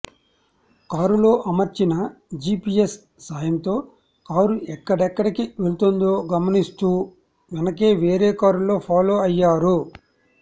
కారులో అమర్చిన జీపీఎస్ సాయంతో కారు ఎక్కడెక్కడికి వెళ్తుందో గమనిస్తూ వెనకే వేరే కారులో ఫాలో అయ్యారు